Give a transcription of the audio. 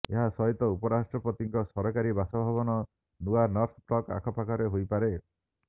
ଏହା ସହିତ ଉପରାଷ୍ଟ୍ରପତିଙ୍କ ସରକାରୀ ବାସଭବନ ନୂଆ ନର୍ଥ ବ୍ଲକ୍ ଆଖପାଖରେ ହୋଇପାରେ